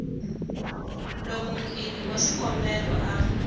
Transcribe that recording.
loko muendli wa xikombelo a